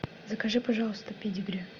закажи пожалуйста педигри